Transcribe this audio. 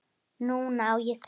Núna á ég þig.